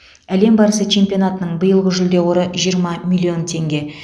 әлем барысы чемпионатының биылғы жүлде қоры жиырма миллион теңге